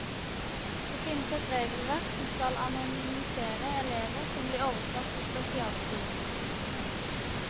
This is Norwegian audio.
Det finnes et regelverk som skal anonymisere elever som blir overført til spesialskoler.